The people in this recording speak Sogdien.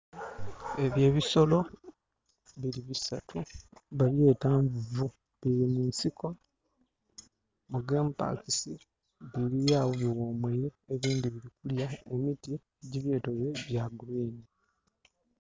Ebyo ebisolo biri bisatu nga babyeta nvuvu biri munsiko mugemu pakisi bilyagho bighumwire, ebindhi biri kulya mumiti egibyetoloire nga gya kilagala.